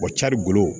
carikolo